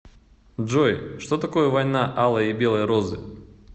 джой что такое война алой и белой розы